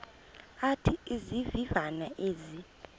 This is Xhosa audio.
athi izivivane ezi